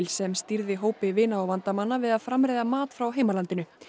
sem stýrði hópi vina og vandamanna við að framreiða mat frá heimalandinu